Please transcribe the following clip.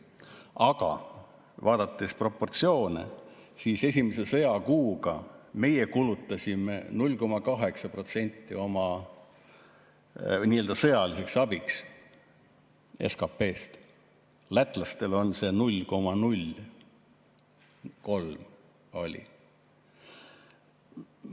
Aga vaadates proportsioone, siis esimese sõjakuuga meie kulutasime 0,8% SKP-st nii-öelda sõjaliseks abiks, lätlastel oli see 0,03%.